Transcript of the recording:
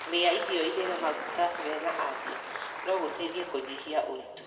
Kũrĩa irio irĩ na maguta mena afia no gũteithie kũnyihia ũritũ.